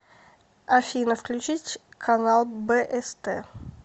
афина включить канал бст